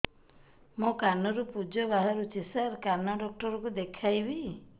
ମୋ କାନରୁ ପୁଜ ବାହାରୁଛି ସାର କାନ ଡକ୍ଟର କୁ ଦେଖାଇବି